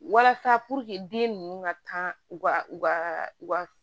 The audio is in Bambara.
Walasa den ninnu ka kan u ka u ka u ka